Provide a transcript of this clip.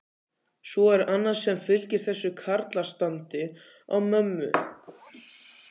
Svo er annað sem fylgir þessu karlastandi á mömmu.